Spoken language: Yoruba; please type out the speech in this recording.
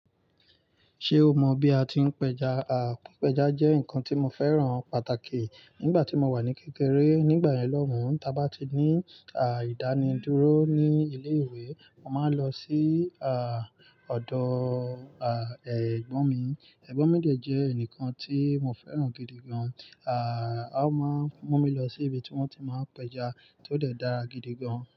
Ṣé o mọ bí a ti ń pẹja? Àpèjá jẹ́ nǹkan tí mo fẹ́ràn pàtàkì nígbà tí mo wà ní kékeré. Nígbà yen lọ́ oun, ta bá ti ní à ìdánidúró ní ilé-ìwé, mo máa ń lọ sí à ọ̀dọ̀ à ẹ̀gbọ́n mi. Ẹ̀gbọ́n mi de jẹ̀ ẹnìkan ti mo fẹ́ràn gidi gan-an. À o máa ń mú mi lọ sí ibi tí wọ́n ti máa ń pẹ́ja tó dẹ̀ dára gidi gan.